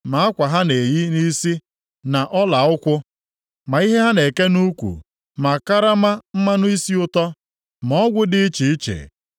ma akwa ha na-eyi nʼisi, na ọla ụkwụ, ma ihe ha na-eke nʼukwu, ma karama mmanụ isi ụtọ, ma ọgwụ dị iche iche;